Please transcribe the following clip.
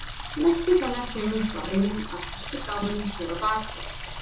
Merkið hennar kemur frá einum af frystigámunum hérna á bak við.